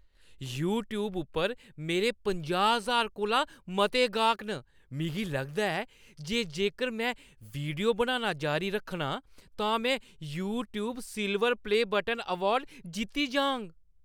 YouTube उप्पर मेरे पंजाह् ज्हार कोला मते गाह्क न। मिगी लगदा ऐ जे जेकर में वीडियो बनाना जारी रक्खना तां मैं "YouTube silver play button" award जित्ती जाङ।